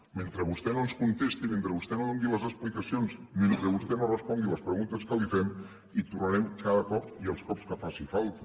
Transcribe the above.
mentre vostè no ens contesti mentre vostè no doni les explicacions mentre vostè no respongui les preguntes que li fem hi tornarem cada cop i els cops que faci falta